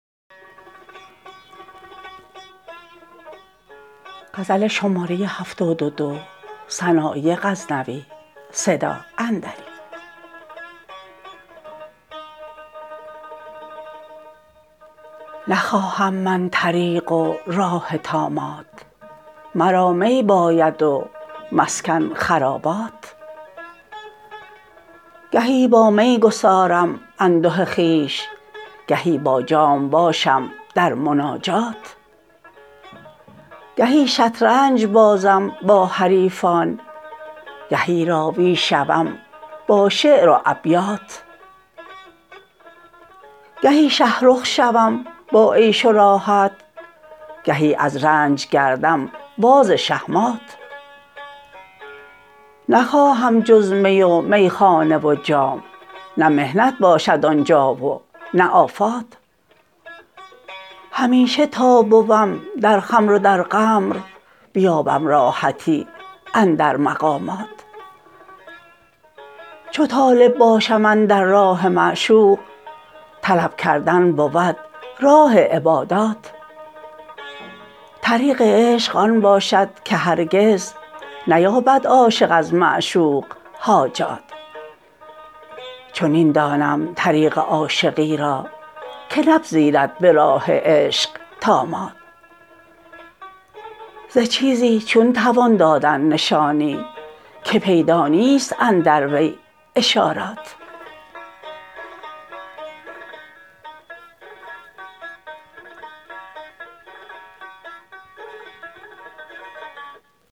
نخواهم من طریق و راه طامات مرا می باید و مسکن خرابات گهی با می گسارم انده خویش گهی با جام باشم در مناجات گهی شطرنج بازم با حریفان گهی راوی شوم با شعر و ابیات گهی شه رخ شوم با عیش و راحت گهی از رنج گردم باز شهمات نخواهم جز می و میخانه و جام نه محنت باشد آن جا و نه آفات همیشه تا بوم در خمر و در قمر بیابم راحتی اندر مقامات چو طالب باشم اندر راه معشوق طلب کردن بود راه عبادات طریق عشق آن باشد که هرگز نیابد عاشق از معشوق حاجات چنین دانم طریق عاشقی را که نپذیرد به راه عشق طامات ز چیزی چون توان دادن نشانی که پیدا نیست اندر وی اشارات